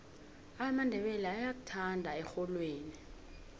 amandebele ayakuthanda erholweni